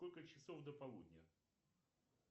сколько часов до полудня